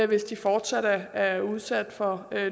hvis de fortsat er udsat for